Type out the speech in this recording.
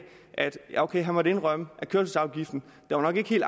at han måtte indrømme at kørselsafgiften nok ikke helt